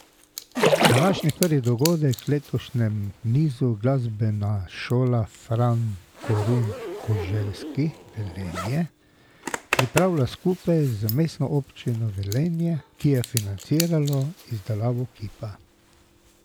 Današnji prvi dogodek v letošnjem nizu Glasbena šola Fran Korun Koželjski Velenje pripravlja skupaj z Mestno občino Velenje, ki je financirala izdelavo kipa.